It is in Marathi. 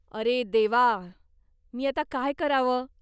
अरे देवा! मी आता काय करावं?